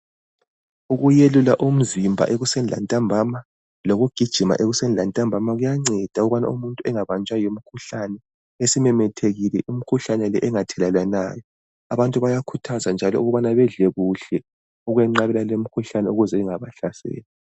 Ukuyelula umzimba ekuseni lantambama, lokugijima ekuseni lantambama kuyanceda ukubana umuntu engabanjwa yimikhuhlane esimemethekile, imikhuhlane le engathelelwanayo. Abantu bayakhuthazwa njalo ukubana bedle kuhle ukwenqabela lemikhuhlane ukuze ingabahlaseli.